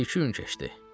Bir-iki gün keçdi.